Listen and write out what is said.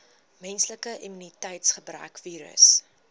menslike immuniteitsgebrekvirus